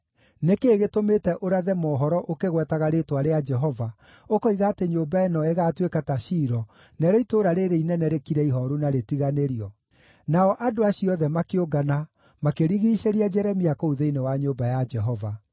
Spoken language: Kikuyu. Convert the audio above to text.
Nĩ kĩĩ gĩtũmĩte ũrathe mohoro ũkĩgwetaga rĩĩtwa rĩa Jehova, ũkoiga atĩ nyũmba ĩno ĩgaatuĩka ta Shilo, narĩo itũũra rĩĩrĩ inene rĩkire ihooru na rĩtiganĩrio?” Nao andũ acio othe makĩũngana, makĩrigiicĩria Jeremia kũu thĩinĩ wa nyũmba ya Jehova.